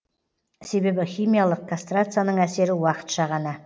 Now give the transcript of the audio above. себебі химиялық кастрацияның әсері уақытша ғана